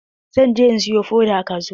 Zan je in siyi foda a kasuwa.